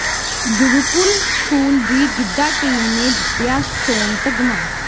Gurukul school ਦੀ giddha team ਨੇ ਜਿੱਤਿਆ ਸੋਨ ਤਗ਼ਮਾ